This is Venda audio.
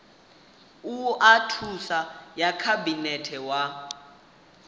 oa thuso ya khabinete wa